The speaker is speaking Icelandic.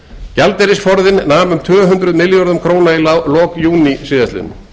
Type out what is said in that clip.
gjaldeyrisforðinn nam um tvö hundruð milljörðum króna í lok júní síðastliðinn